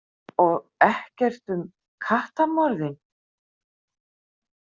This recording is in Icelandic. Og ekkert um kattamorðin?